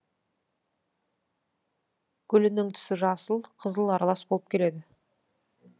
гүлінің түсі жасыл қызыл аралас болып келеді